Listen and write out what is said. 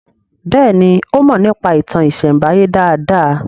Béèni o mo nípa ìtàn isembaye dá dá.